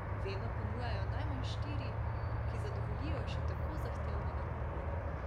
Vedno ponujajo najmanj štiri, ki zadovoljijo še tako zahtevnega gurmana.